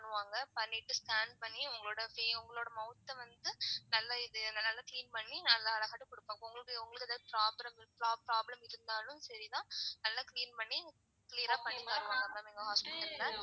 பண்ணுவாங்க பண்ணிட்டு scan பண்ணி உங்களோட உங்களோட mouth அ வந்து நல்ல இது நல்ல clean பண்ணி நல்லா அழகாட்டு கொடுப்பாங்க. உங்களுக்கு உங்களுக்கு problem problem இருந்தாலும் சரிதான் நல்லா clean பண்ணி clear ஆ பண்ணி தருவாங்க ma'am எங்க hospital ல.